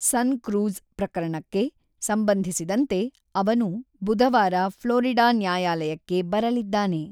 ಸನ್‌ಕ್ರೂಜ್ ಪ್ರಕರಣಕ್ಕೆ ಸಂಬಂಧಿಸಿದಂತೆ ಅವನು ಬುಧವಾರ ಫ್ಲೋರಿಡಾ ನ್ಯಾಯಾಲಯಕ್ಕೆ ಬರಲಿದ್ದಾನೆ.